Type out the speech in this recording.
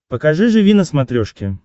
покажи живи на смотрешке